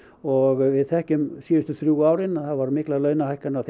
og við þekkjum síðustu þrjú ár það voru miklar launahækkanir á